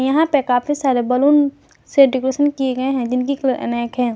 यहां पे काफी सारे बैलून से डेकोरेशन किए गए हैं जिनकी कलर अनेक हैं।